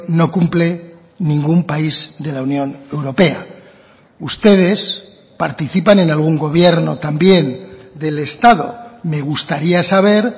no cumple ningún país de la unión europea ustedes participan en algún gobierno también del estado me gustaría saber